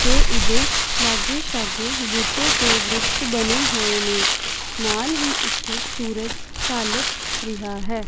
ਤੇ ਇਹਦੇ ਲਾਗੇ ਸ਼ਾਗੇ ਬੂਟੇ ਤੇ ਵਰਿਕਸ਼ ਬਣੇ ਹੋਏ ਨੇ ਨਾਲ ਹੀ ਇੱਥੇ ਸੂਰਜ ਢਲ ਰਿਹਾ ਹੈ।